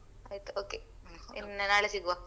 ಆಯ್ತು okay ಇನ್ನ್ ನಾಳೆ ಸಿಗುವ.